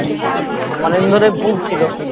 কদিন ধরে ভুগছিল